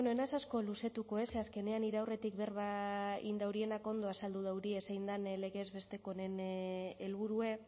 bueno ez naiz asko luzetuko ez ze azkenean nire aurretik berba egin daurienak ondo azaldu daurie zein den legez besteko honen helburue